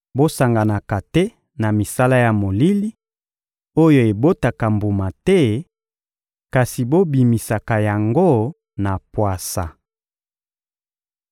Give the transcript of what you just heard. Bosanganaka te na misala ya molili, oyo ebotaka mbuma te, kasi bobimisaka yango na pwasa.